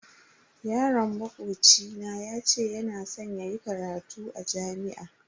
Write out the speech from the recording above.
Yaron makoci na yace yana san yayi karatu a jami'a.